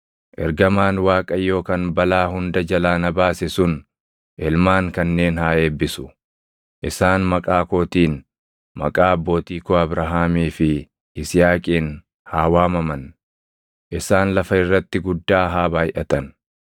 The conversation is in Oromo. Ergamaan Waaqayyoo kan balaa hunda jalaa na baase sun ilmaan kanneen haa eebbisu. Isaan maqaa kootiin, maqaa abbootii koo Abrahaamii fi Yisihaaqiin haa waamaman; isaan lafa irratti guddaa haa baayʼatan.”